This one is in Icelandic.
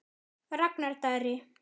Ragnar Darri.